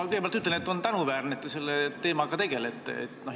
Ma kõigepealt ütlen, et on tänuväärne, et te selle teemaga tegelete.